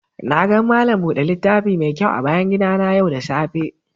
Na gan malam bude littafi mai kyau a bayan gida na yau da safe.